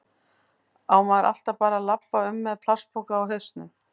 Á maður alltaf bara að labba um með plastpoka á hausnum?